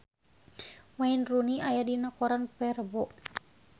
Wayne Rooney aya dina koran poe Rebo